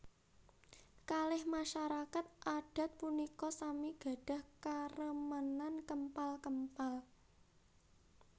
Kalih masarakat adat punika sami gadhah karemenan kempal kempal